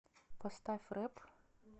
поставь рэп